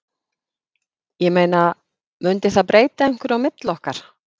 Ég meina. mundi það breyta einhverju á milli okkar.